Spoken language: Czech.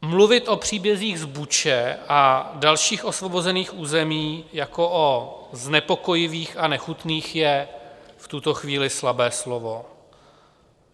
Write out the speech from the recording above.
Mluvit o příbězích z Buči a dalších osvobozených území jako o znepokojivých a nechutných je v tuto chvíli slabé slovo.